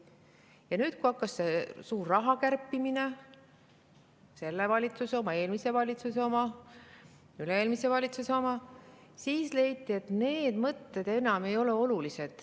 Ja nüüd, kui hakkas see suur raha kärpimine – selle valitsuse oma, eelmise valitsuse oma, üle-eelmise valitsuse oma –, siis leiti, et need mõtted enam ei ole olulised.